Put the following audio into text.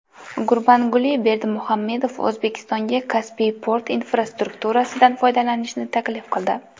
Gurbanguli Berdimuhamedov O‘zbekistonga Kaspiy port infrastrukturasidan foydalanishni taklif qildi.